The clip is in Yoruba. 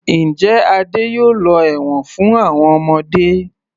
Njẹ́ Adé yóò lọ ẹ̀wọ̀n fún àwọn ọmọdé.